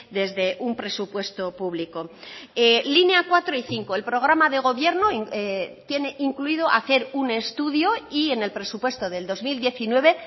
desde un presupuesto público línea cuatro y cinco el programa de gobierno tiene incluido hacer un estudio y en el presupuesto del dos mil diecinueve